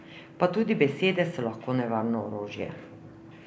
Pa tudi besede so lahko nevarno orožje.